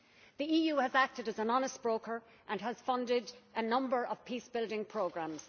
The EU has acted as an honest broker and has funded a number of peace building programmes.